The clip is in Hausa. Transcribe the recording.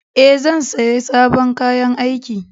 Ee, zan saya sabon kayan aiki.